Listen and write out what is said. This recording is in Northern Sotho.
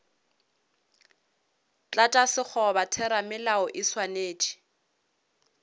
tlatša sekgoba theramelao e swanetše